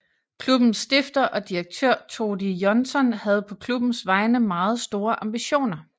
Klubbens stifter og direktør Todi Jónsson havde på klubbens vegne meget store ambitioner